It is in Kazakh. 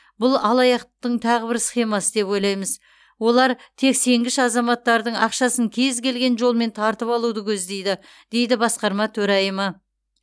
бұл алаяқтықтың тағы бір схемасы деп ойлаймыз олар тек сенгіш азаматтардың ақшасын кез келген жолмен тартып алуды көздейді дейді басқарма төрайымы